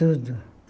Tudo.